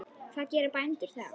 Hvað gera bændur þá?